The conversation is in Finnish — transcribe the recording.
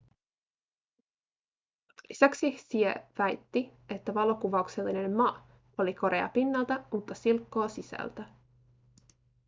lisäksi hsieh väitti että valokuvauksellinen ma oli korea pinnalta mutta silkkoa sisältä